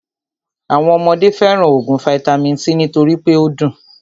Àwọn ọmọdé fẹràn óògùn vaitami c nítorí pé o dùn.